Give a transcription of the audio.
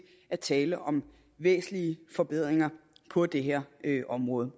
er tale om væsentlige forbedringer på det her område